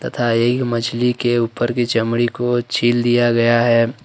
तथा एक मछली के ऊपर की चमड़ी को छील दिया गया है।